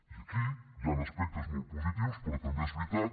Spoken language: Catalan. i aquí hi han aspectes molt positius però també és veritat